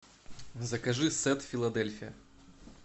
закажи сет филадельфия